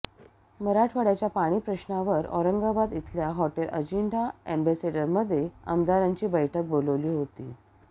मराठवाड्याच्या पाणी पश्नावर औरंगाबाद इथल्या हॉटेल अजिंठा अॅम्बेसेडरमध्ये आमदारांची बैठक बोलावली होती